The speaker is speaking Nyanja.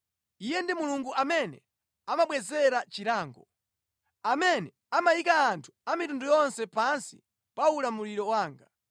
Iye ndi Mulungu amene amabwezera chilango, amene amayika anthu a mitundu yonse pansi pa ulamuliro wanga,